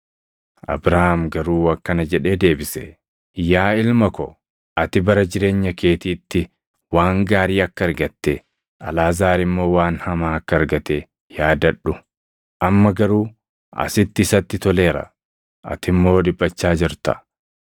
“Abrahaam garuu akkana jedhee deebise; ‘Yaa ilma ko, ati bara jireenya keetiitti waan gaarii akka argatte, Alʼaazaar immoo waan hamaa akka argate yaadadhu; amma garuu asitti isatti toleera; ati immoo dhiphachaa jirta.